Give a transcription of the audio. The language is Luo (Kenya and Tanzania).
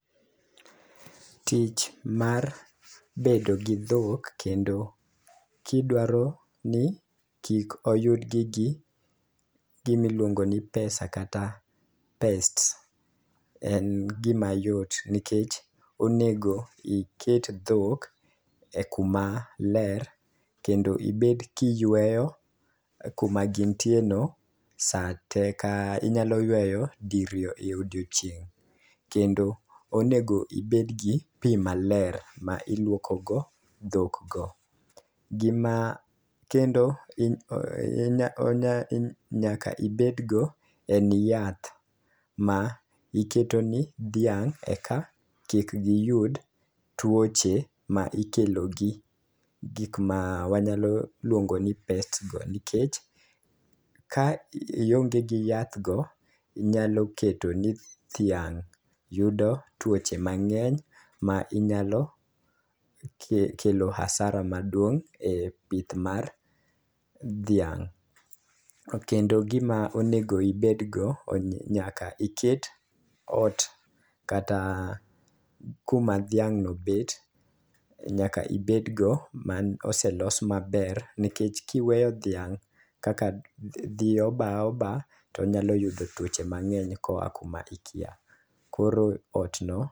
Tich mar bedo gi dhok kendo kidwaro ni kik oyudgi gi gimiluongo ni pesa kata pests. En gima yot nikech onego iket dhok e kuma ler, kendo ibet kiyweyo kuma gintie no sa te. Ka inyalo yweyo di riyo e odiochieng'. Kendo onego ibed gi pi maler ma iluoko go dhok go. Gima kendo inya onya inya nyaka ibedgo en yath ma iketo ni dhiang' eka kik giyud tuoche ma ikelo gi gik ma wanyalo luongo ni pests go. Nikech ka ionge gi yath go, inyalo keto ni dhiang' yudo tuoche mang'eny ma inyalo kelo asara maduong' e pith mar dhiang'. Kendo gima onego ibed go, o nyaka iket ot kata kuma dhiang' no bet. Nyaka ibed go man ose los maber, nekech kiweyo dhiang' kaka dhiyo baoba to nyalo yudo tuoche mang'eny koa kuma ikia. Koro ot no.